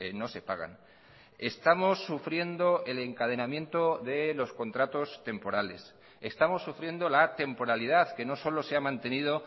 no se pagan estamos sufriendo el encadenamiento de los contratos temporales estamos sufriendo la temporalidad que no solo se ha mantenido